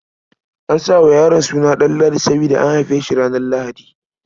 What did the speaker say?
An sa wa yaron suna Ɗanladi saboda an haife shi ranar Lahadi.